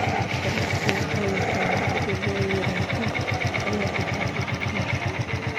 Carruurtu waxay yaqaaniin sida loo yiraahdo aayad xusuusta